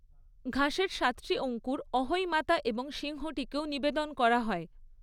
ঘাসের সাতটি অঙ্কুর অহোই মাতা এবং সিংহটিকেও নিবেদন করা হয়।